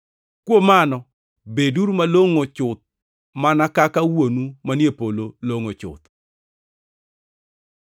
Kuom mano, beduru malongʼo chuth mana kaka Wuonu manie polo longʼo chuth.